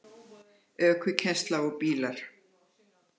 ÖKUKENNSLA OG BÍLAR